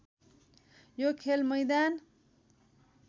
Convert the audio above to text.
यो खेल मैदान